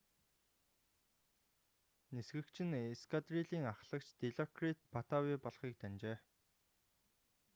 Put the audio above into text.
нисгэгч нь эскадрилийн аххлагч дилокрит паттавий болохыг таньжээ